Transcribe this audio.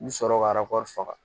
N mi sɔrɔ ka faga